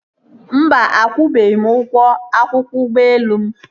Mba, akwụbeghị m ụgwọ akwụkwọ ụgbọelu m